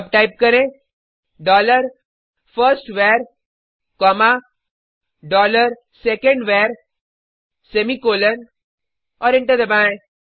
अब टाइप करें dollar first var comma dollar second var semicolon और एंटर दबाएँ